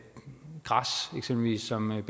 eksempelvis armeret